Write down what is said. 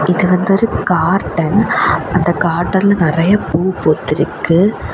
இது வந்து ஒரு கார்டன் அந்த கார்டன்ல நெறைய பூ பூத்திருக்கு.